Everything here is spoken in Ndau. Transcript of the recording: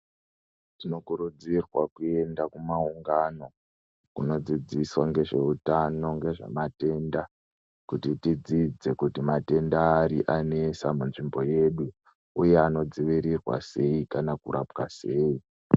Tinokurudzirwa kuenda kumaungano kunodzidziswa ngezveutano ngezvematenda kuti tidzidze kuti matenda ari anetsa munzvimbo yedu uye anodzivirirwa sei kana kurapwa sei.